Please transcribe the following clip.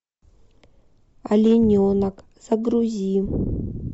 олененок загрузи